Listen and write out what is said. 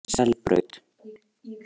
Selbraut